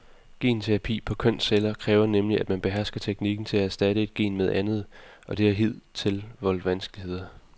Genterapi på kønsceller kræver nemlig, at man behersker teknikken til at erstatte et gen med et andet, og det har hidtil voldt vanskeligheder.